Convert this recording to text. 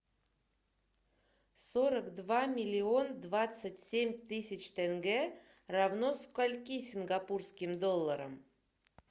сорок два миллион двадцать семь тысяч тенге равно скольки сингапурским долларам